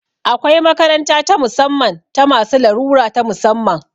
Akwai makaranta ta musamman ta masu larura ta musamman